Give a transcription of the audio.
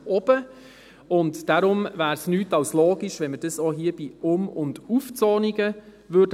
Deshalb wäre es nicht mehr als logisch, wenn man dies auch bei Um- und Aufzonungen täte.